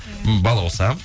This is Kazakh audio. балауса